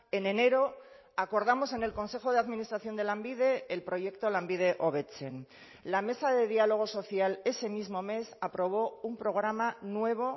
en enero acordamos en el consejo de administración de lanbide el proyecto lanbide hobetzen la mesa de diálogo social ese mismo mes aprobó un programa nuevo